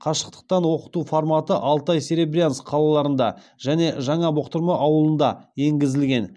қашықтықтан оқыту форматы алтай серебрянск қалаларында және жаңа бұқтырма ауылында енгізілген